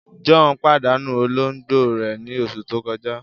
John padanu ologbo rẹ ni oṣu to kọja.